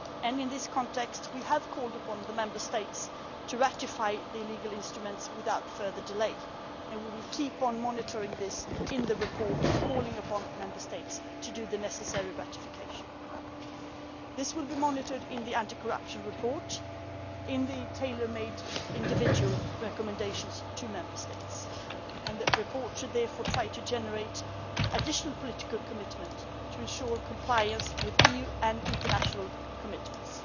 In this context we have called upon the Member States to ratify the legal instruments without further delay, and we will keep on monitoring this in the report, calling upon Member States to do the necessary ratification. This will be monitored in the anti corruption report, in the tailor made individual recommendations to Member States. That report should therefore try to generate additional political commitment to ensure compliance with EU and international commitments.